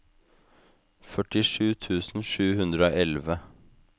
førtisju tusen sju hundre og elleve